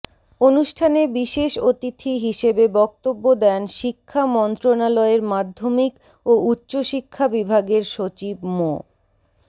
অনুষ্ঠানে বিশেষ অতিথি হিসেবে বক্তব্য দেন শিক্ষা মন্ত্রণালয়ের মাধ্যমিক ও উচ্চ শিক্ষা বিভাগের সচিব মো